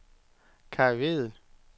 Kai Vedel